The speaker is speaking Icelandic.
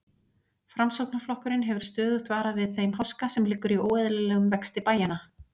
Framsóknarflokkurinn hefur stöðugt varað við þeim háska, sem liggur í óeðlilegum vexti bæjanna.